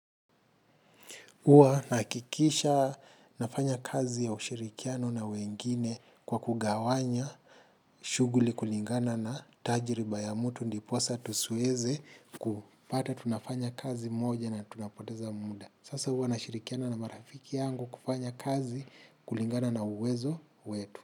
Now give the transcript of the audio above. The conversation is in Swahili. Huwa nahakikisha nafanya kazi ya ushirikiano na wengine kwa kugawanya shughuli kulingana na tajiriba ya mtu ndiposa tusiweze kupata tunafanya kazi moja na tunapoteza muda. Sasa huwa nashirikiana na marafiki yangu kufanya kazi kulingana na uwezo wetu.